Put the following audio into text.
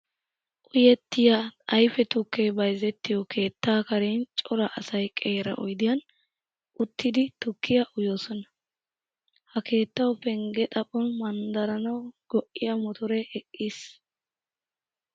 Uyettiya ayfe tukkee bayzettiyo keettaa karen cora asay qeera oydiyan uttidi tukkiya uyosona. Ha keettawu pengge xaphon manddaranawu go''iya motoree eqqiis.